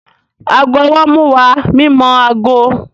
Aago ọwọ́ nmú wá mímọ aago